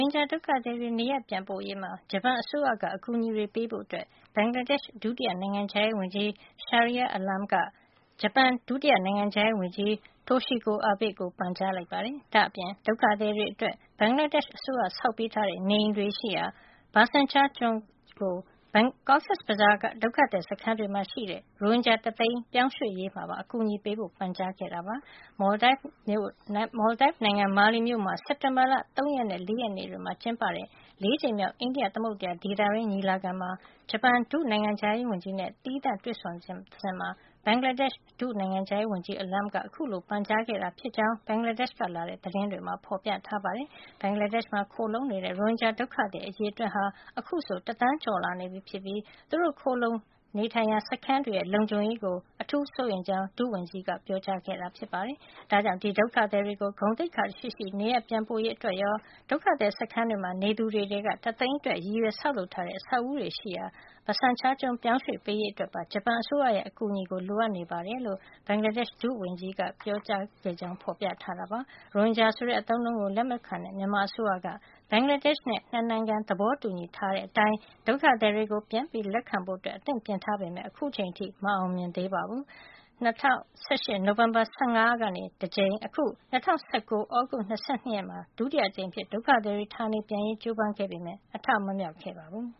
င်ဂျာ ဒုက္ခသည်တွေ နေရပ်ပြန်ပို့ရေးမှာ ဂျပန်အစိုးရက အကူအညီတွေပေးဖို့ ဘင်္ဂလားဒေ့ရှ် နိုင်ငံခြားရေး ဒုတိယ ဝန်ကြီး Shahriar Alam က ဂျပန်နိုင်ငံခြားရေး ဒုတိယဝန်ကြီး Toshiko Abe ကို ပန်ကြားလိုက်ပါတယ်။ ဒါ့အပြင် ဒုက္ခသည်တွေအတွက် ဘင်္ဂလားဒေ့ရှ်အစိုးရ ဆောက်ပေးထားတဲ့ နေအိမ်တွေရှိရာ ဘာဆန်ချား ကျွန်းကို Cox’s Bazar ဒုက္ခသည်စခန်းတွေမှာ ရှိတဲ့ ရိုဟင်ဂျာ တသိန်းပြောင်းရွှေ့ရေးမှာပါ အကူညီပေးဖို ပန်ကြားလိုက်တာပါ။ မော်လဒိုက်နိုင်ငံ မာလီမြို့မှာ စက်တင်ဘာလ ၃ ရက်နဲ့ ၄ ရက်နေ့တွေမှာ ကျင်းပတဲ့ ၄ ကြိမ်မြောက် အိန္ဒိယသမုဒ္ဒရာဒေသတွင်း ညီလာခံမှာ ဂျပန်နိုင်ငံခြားရေးဝန်ကြီး နဲ့ သီးသန့်တွေ့ဆုံစဉ်မှာ ဘင်္ဂလားဒေ့ရှ် နိုင်ငံခြားရေး ဒုဝန်ကြီး Alam က အခုလို ပန်ကြားခဲ့တာ ဖြစ်ကြောင်း ဘင်္ဂလားဒေ့ရှ်က လာတဲ့ သတင်းတွေမှာ ဖေါ်ပြထားပါတယ်။ ဘင်္ဂလားဒေ့ရှ်မှာ ခိုလှုံနေတဲ့ ရိုဟင်ဂျာဒုက္ခသည် အရေအတွက်က အခုဆို တသန်းကျော်လာနေပြီဖြစ်ပြီး သူတို့ခိုလှုံနေထိုင်ရာ စခန်းတွေရဲ့ လုံခြုံရေးကို အထူးစိုးရိမ်ကြောင်း ဒုဝန်ကြီး Alam က ပြောကြားခဲ့တာပါ။ ဒါ့ကြောင် ဒီဒုက္ခသည်တွေကို ဂုဏ်သိက္ခာရှိရှိ နေရပ်ပြန်ပို့ရေး အတွက်ရော ဒုက္ခသည် စခန်းတွေမှာ နေသူတွေထဲက တသိန်းအတွက် ရည်ရွယ်ဆောက်လုပ်ထားတဲ့ အဆောက်အဦးတွေရှိရာ ဘဆန်ချားကျွန်းကို ပြောင်းရွှေ့ပေးရေးအတွက်ပါ ဂျပန်အစိုးရရဲ့ အကူအညီကို လိုအပ်နေကြောင်း ဘင်္ဂလားဒေ့ရှ် ဒုဝန်ကြီးက ပြောကြား ခဲ့တယ်လို့လည်း ဖေါ်ပြထားပါတယ်။ ရိုဟင်ဂျာဆိုတဲ့ အသုံးနှုန်းကို လက်မခံတဲ့ မြန်မာအစိုးရက ဘင်္ဂလားဒေ့ရှ်နဲ့ ၂ နိုင်ငံ သဘောတူညီထားတဲ့အတိုင်း ဒုက္ခသည်တွေကို ပြန်လက်ခံဖို့ အသင့်ပြင်ထားပေမယ့်လည်း အခုအချိန်ထိ မအောင်မြင်သေးပါဘူး။ ၂၀၁၈ နိုဝင်ဘာ ၁၅ ရက်နေ့က တကြိမ် နဲ့ အခု ၂၀၁၉ သြဂုတ်လ ၂၂ ရက် နေ့တွေမှာ ဒုတိယအကြိမ်အဖြစ် ဒုက္ခသည်တွေ ဌာနေပြန်ရေး ကြိုးပမ်းမှုတွေဟာ အထမမြောက်ခဲ့ပါဘူး။